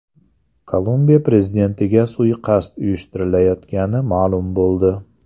Kolumbiya prezidentiga suiqasd uyushtirilayotgani ma’lum bo‘ldi.